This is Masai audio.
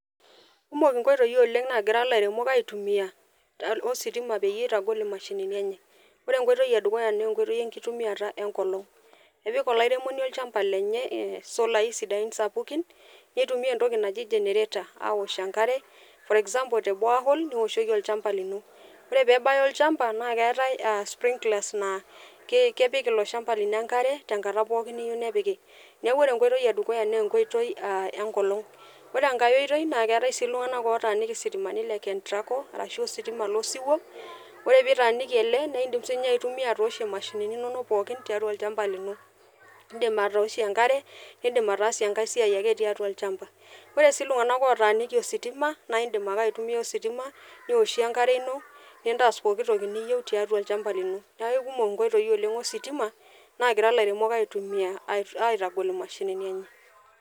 Kumok nkoitoi oleng naagira ilairemok aitumia ositima peyie itagol imashinini enye . Ore enkoitoi edukuya naa enkotoi enkitumiata enkolong . Epik olairemoni olchamba le e solai sapukin nitumia entoki naji generator aosh enkare for example te borehole neoshoki olchamba lino . Ore pebaya olchamba naa keetae sprinklers naa kepik ilo shamba lino enkare tenkata pooki niyieu nepiki . Niaku ore enkoitoi edukuya naa enkotoi enkolong . Ore enkae oitoi naa keetae sii iltunganak lootaaniki sitimani le kentraco arashu ositima lo siwuo , ore pitaaniki ele naa indim sininye aitumia atooshie imashinini inonok pookin tiatua olchamba lino. Indim atooshie enkare ,nindim ataasie enkae siai ake tiatua olchamba .Ore sii iltunganak otaaniki ositima naa indim ake aitumia ositima , nishie enkare ino, nintaas pooki toki niyieu tiatua olchamba lino. Niaku ikumok nkoitoi oleng ositima nagira ilairemok aitumia aitagol imashinini enye.